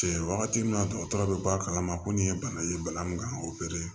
Cɛn wagati min na dɔgɔtɔrɔ bɛ bɔ a kalama ko nin ye bana ye bana min kan ka opere